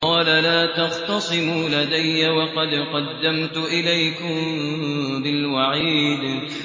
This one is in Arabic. قَالَ لَا تَخْتَصِمُوا لَدَيَّ وَقَدْ قَدَّمْتُ إِلَيْكُم بِالْوَعِيدِ